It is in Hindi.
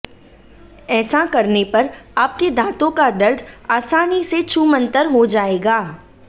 ऐसा करने पर आपके दाँतों का दर्द आसानी से छूमंतर हो जाएगा